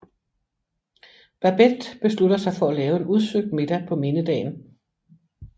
Babette beslutter sig for at lave en udsøgt middag på mindedagen